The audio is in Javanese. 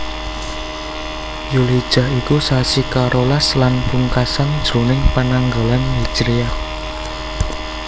Dzulhijjah iku sasi karolas lan pungkasan jroning pananggalan hijriyah